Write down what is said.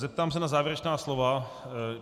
Zeptám se na závěrečná slova.